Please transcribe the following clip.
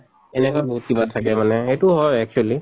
এনেকা বহুত কিবা থাকে মানে এইতো হয়